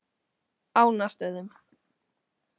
Ánastöðum